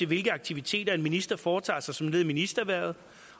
de aktiviteter en minister foretager sig som led i ministerhvervet